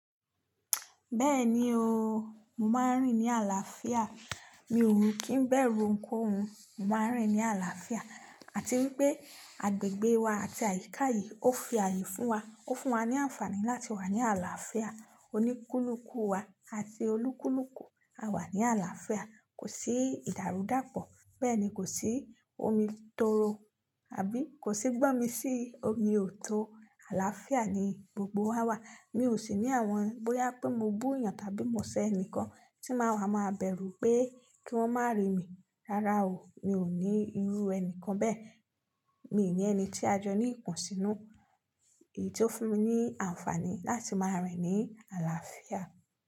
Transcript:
Bẹ́ẹ̀ni o, mo máa ń rìn ní àlàáfíà. Mi ò kí ń bẹ̀rù oun kohun, mo máa ń rìn ní àlàáfíà. Àti wípé agbègbè wa àti àyíká yìí ó fi ààyè fún wa, ó fún wa ní àǹfààní láti wà ní àlàáfíà. Oníkúlùkù wa àti olúkúlùkù a wà ní àlàáfíà. Kò sí ìdàrúdàpọ̀, bẹ́ẹ̀ ni kò sí omi tóro, àbí kò sí gbọ́mi sí omi òto. Àlàáfíà ni gbogbo wa wà. Mi ò sì ní àwọn bóyá pé mo bú eeyàn tàbí mo ṣẹ́ ẹnìkan tí máa ma bẹ̀rù pé kí wọ́n má rí mi. Rárá o, mi ò ní irú ẹni kan bẹ́ẹ̀. Mi ò ní ẹni tí a jọ ní ìkún sínú. Èyí tó fún mi ní àǹfààní láti máa rìn ní àlàáfíà.